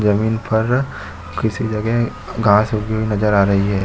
ज़मीन पर किसी जगह घाँस उगी हुई नज़र आ रही है।